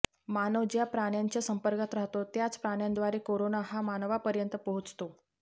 मानव ज्या प्राण्यांच्या संपर्कात राहतो त्याच प्राण्यांद्वारे कोरोना हा मानवापर्यंत पोहोचतो